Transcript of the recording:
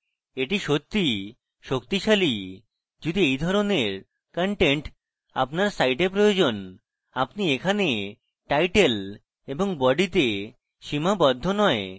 এটি সত্যিই শক্তিশালী যদি এই ধরণের content আপনার site প্রয়োজন আপনি এখানে title এবং body তে সীমাবদ্ধ নই